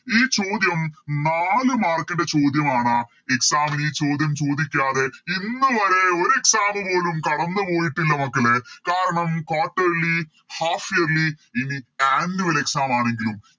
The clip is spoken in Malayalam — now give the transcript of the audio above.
ഈ ചോദ്യം നാല് Mark ൻറെ ചോദ്യമാണ് Exam ന് ഈ ചോദ്യം ചോദിക്കാതെ ഇന്ന് വരെ ഒര് Exam പോലും കടന്നുപോയിട്ടില്ല മക്കളെ കാരണം Quarterly half yearly ഇനി Annual exam ആണെങ്കിലും